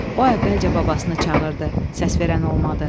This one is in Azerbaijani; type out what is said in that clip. O əvvəlcə babasını çağırdı, səs verən olmadı.